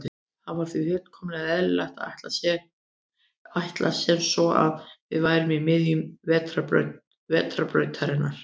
Það var því fullkomlega eðlilegt að ætla sem svo að við værum í miðju Vetrarbrautarinnar.